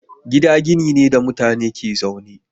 Gida gini ne da mutane ke zaune.